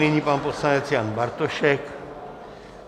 Nyní pan poslanec Jan Bartošek.